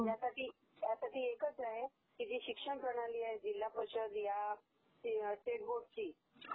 यासाठी एकचं आहे ही जी शिक्षण प्रणाली आहे जिल्हापरीषद ह्या स्टेट बोर्डची